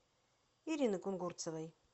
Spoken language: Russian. ирины кунгурцевой